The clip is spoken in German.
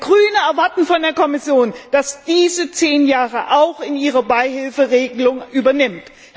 Wir Grünen erwarten von der Kommission, dass sie diese zehn Jahre auch in ihre Beihilferegelung übernimmt.